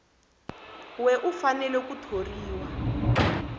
we u fanele ku thoriwa